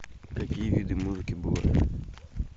какие виды музыки бывают